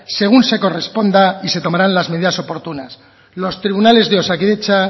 según se corresponda y se tomarán las medidas oportunas los tribunales de osakidetza